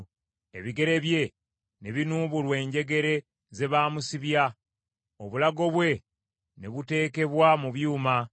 ebigere bye ne binuubulwa enjegere ze baamusibya, obulago bwe ne buteekebwa mu byuma,